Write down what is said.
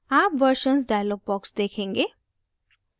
आप versions dialog box देखेंगे